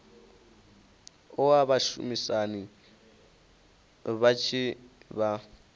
oa vhashumisani vha tshi vha